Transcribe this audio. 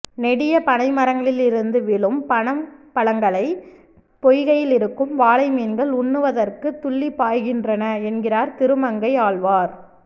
நெடிய பனைமரங்களிலிருந்து விழும் பனம் பழங்களை பொய்கையில் இருக்கும் வாளை மீன்கள் உண்ணுவதற்குத் துள்ளிப்பாய்கின்றன என்கிறார் திருமங்கை ஆழ்வார்